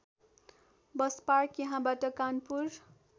bus park यहाँबाट कानपुर